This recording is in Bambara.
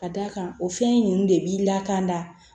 Ka d'a kan o fɛn ninnu de b'i la kan da